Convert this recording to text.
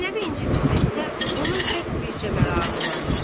Zeynəbi incitməkdə onun tək bircə məramı var idi.